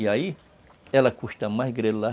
E aí, ela custa mais grelar.